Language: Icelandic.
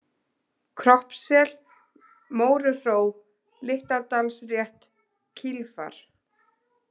Kroppssel, Móruhró, Litladalsrétt, Kílfar